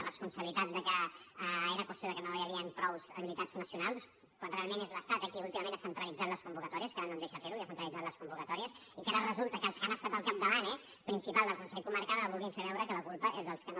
la responsabilitat de que era qüestió de que no hi havien prou habilitats nacionals quan realment és l’estat qui últimament ha centralitzat les convocatòries que ara no ens deixa fer ho i ha centralitzat les convocatòries i que ara resulta que els que han estat al capdavant eh principalment del consell comarcal ara vulguin fer veure que la culpa és dels que no